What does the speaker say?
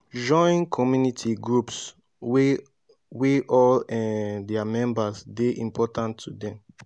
join community groups wey wey all um their members dey important to dem